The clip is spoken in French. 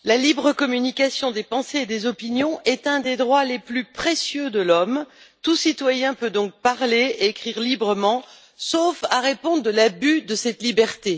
Monsieur le Président, la libre communication des pensées et des opinions est un des droits les plus précieux de l'homme. Tout citoyen peut donc parler et écrire librement, sauf à répondre de l'abus de cette liberté.